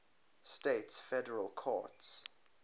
states federal courts